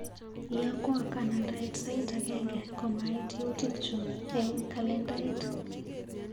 Iyakwa kanandaet sait agenge komait yautikchu eng kalendait.